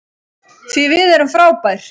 Því við erum frábær.